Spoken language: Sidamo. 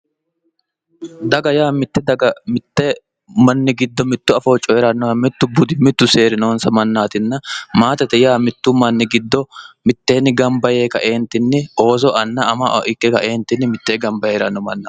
Daga yaa mitte daga giddo mitto afoo coyidhannoha mittu budi seeri noonsare mannaatinna maatete yaa mittu manni giddo mitteenni gamva yee kae Ooso anna ama ikke kae mitteenni gamba yee hee'ranno mannaati.